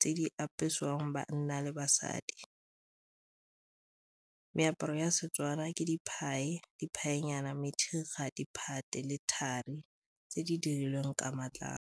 tse di apesiwang banna le basadi. Meaparo ya Setswana ke le thari tse di dirilweng ka matlalo.